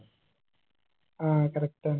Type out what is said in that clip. ആ correct ആണ്